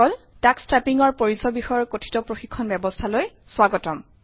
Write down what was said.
Tux টাইপিঙৰ পৰিচয় বিষয়ৰ কথিত প্ৰশিক্ষণ ব্যৱস্থালৈ স্বাগতম